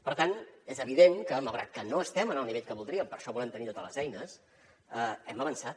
per tant és evident que malgrat que no estem en el nivell que voldríem per això volem tenir totes les eines hem avançat